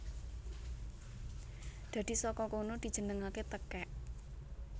Dadi saka kono dijenengaké tekèk